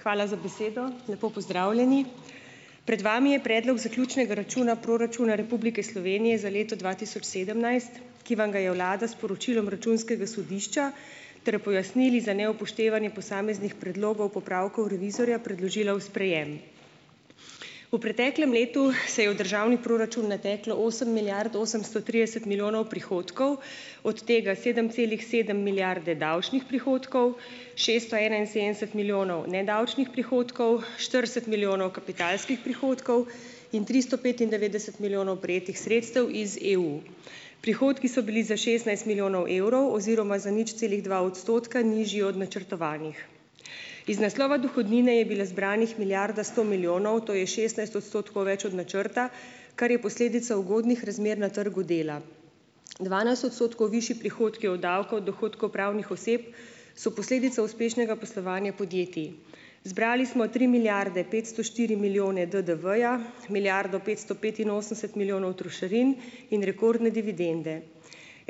Hvala za besedo. Lepo pozdravljeni! Pred vami je Predlog zaključnega računa proračuna Republike Slovenije za leto dva tisoč sedemnajst, ki vam ga je vlada s poročilom Računskega sodišča ter pojasnili za neupoštevanje posameznih predlogov popravkov revizorja predložila v sprejem. V preteklem letu se je v državni proračun nateklo osem milijard osemsto trideset milijonov prihodkov, od tega sedem celih sedem milijarde davčnih prihodkov, šeststo enainsedemdeset milijonov nedavčnih prihodkov, štirideset milijonov kapitalskih prihodkov in tristo petindevetdeset milijonov prejetih sredstev iz EU. Prihodki so bili za šestnajst milijonov evrov oziroma za nič celih dva odstotka nižji od načrtovanih. Iz naslova dohodnine je bila zbrana milijarda sto milijonov, to je šestnajst odstotkov več od načrta, kar je posledica ugodnih razmer na trgu dela. Dvanajst odstotkov višji prihodki od davka od dohodkov pravnih oseb so posledica uspešnega poslovanja podjetij. Zbrali smo tri milijarde petsto štiri milijone DDV-ja, milijardo petsto petinosemdeset milijonov trošarin in rekordne dividende.